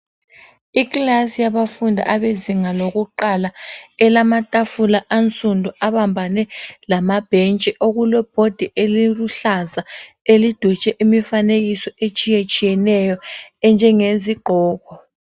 Ikilasi yabafundi abezinga lokuqala. Elamatafula ansundu abambane lamabhentshi. Okule bhodi eliluhlaza elidwetshwe imifanekiso etshiyetshiyeneyo enjenge yezigqoko.